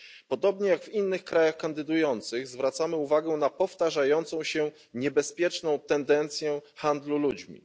Podobnie jak w innych krajach kandydujących zwracamy uwagę na powtarzającą się niebezpieczną tendencję handlu ludźmi.